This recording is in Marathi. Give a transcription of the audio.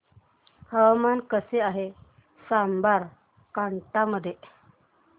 हवामान कसे आहे साबरकांठा मध्ये